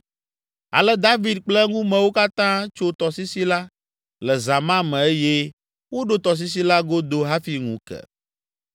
Ale David kple eŋumewo katã tso tɔsisi la le zã ma me eye woɖo tɔsisi la godo hafi ŋu ke.